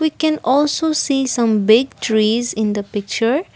we can also see some big trees in the picture.